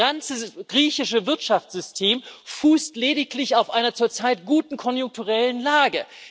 Das ganze griechische Wirtschaftssystem fußt lediglich auf einer zurzeit guten konjunkturellen Lage.